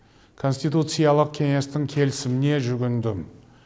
конституциялық кеңестің келісіміне жүгіндім